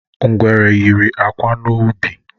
Ngwere yiri akwa n’ubi.